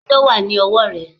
Kíló wà ní ọwọ́ rẹ̀?